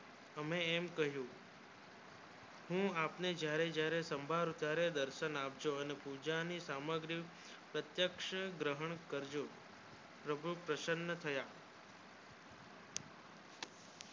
હમે એમ કહ્યું હું આપણે જ્યારે જ્યારે સંબળાય ત્યારે દર્શન આપજો અને પૂજા ની સામગ્રી પ્રત્યક્ષ ગ્રહણ કરજો પ્રભુ પ્રસન્ન થયા